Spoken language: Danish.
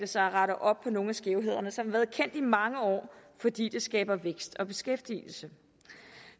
sig at rette op på nogle af skævhederne som har været kendt i mange år fordi det skaber vækst og beskæftigelse